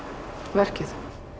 verkið